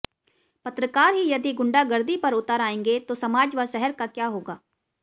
पत्रकार ही यदि गुंडागर्दी पर उतर आएंगे तो समाज व शहर का क्या होगा